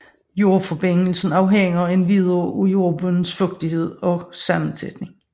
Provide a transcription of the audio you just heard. Jordforbindelsen afhænger endvidere af jordbundens fugtighed og sammensætning